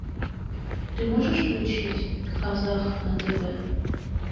ты можешь включить казах на тв